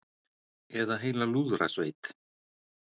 Eða heila lúðrasveit.